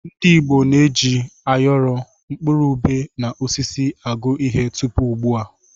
Ndị Igbo na-eji áyọrọ, mkpụrụ ubé na osisi agụ ihe tupu ugbu a.